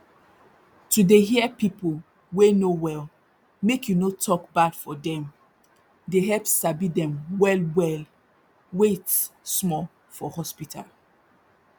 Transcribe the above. to dey hear pipu wey no well make you no tok bad for dem dey help sabi dem well well wait small for hospital